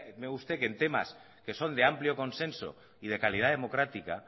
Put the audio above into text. usted que en temas que son de amplio consenso y de calidad democrática